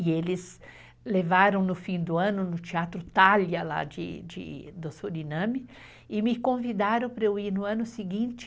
E eles levaram no fim do ano no Teatro Thalia, lá do Suriname, e me convidaram para eu ir no ano seguinte.